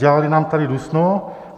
Dělali nám tady dusno.